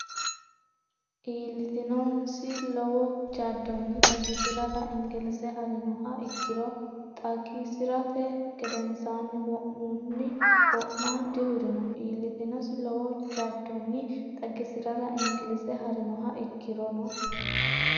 Iillitinosi lowo jaddonni xagisi’rara Ingillze ha’rinoha ikkirono Xagi- si’rate gedensaanni wo’munni wo’ma dihurino Iillitinosi lowo jaddonni xagisi’rara Ingillze ha’rinoha ikkirono.